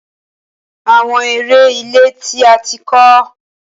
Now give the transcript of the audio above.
Awọn ere ile ti a ti kọ